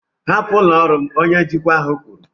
hapụ ụlọ ọrụ m! Onye njikwa ahụ kwuru.